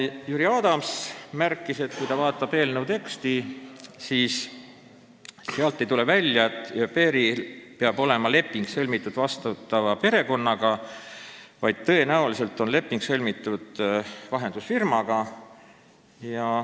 Jüri Adams märkis, et kui vaadata eelnõu teksti, siis sealt ei tule välja, et au pair'il peab olema sõlmitud leping vastuvõtva perekonnaga, vaid tõenäoliselt on leping sõlmitud vahendusfirmaga.